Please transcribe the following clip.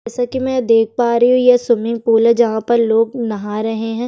जैसा की मै यहाँ देख पा रही हूँ यह स्विमिंग पूल हैं जहाँ पर लोग नहा रहे हैं।